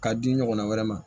K'a di ɲɔgɔnna wɛrɛ ma